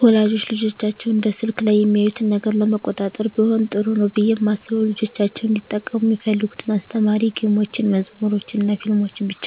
ወላጆች ልጆቻቸው በስልክ ላይ የሚያዩትን ነገር ለመቆጣጠር ቢሆን ጥሩ ነው ብየ ማስበው ልጆቻቸው እንዲጠቀሙ ሚፈልጉትን አስተማሪ ጌሞችን፣ መዝሙሮችንናፊልሞችን ብቻ